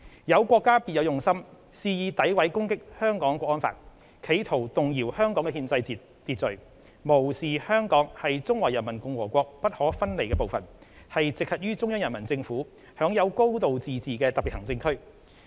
有國家別有用心，肆意詆毀攻擊《香港國安法》，企圖動搖香港的憲制秩序，無視香港是中華人民共和國不可分離的部分，是直轄於中央人民政府、享有"高度自治"的特別行政區。